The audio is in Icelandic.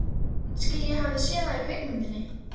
Kannski ég hafi séð það í kvikmynd.